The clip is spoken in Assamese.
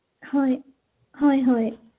হয় হয় হয়